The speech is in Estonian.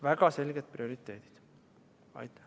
Väga selged prioriteedid!